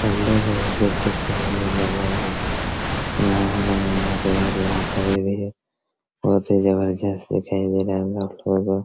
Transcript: अलग हैं देख सकते हैं नहा रहे यहाँ पर बहुत ही जबरदस्त दिखाई दे रहा हैं।